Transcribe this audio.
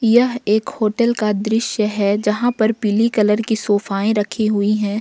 यह एक होटल का दृश्य है जहां पर पीली कलर की सोफाये रखी हुई है।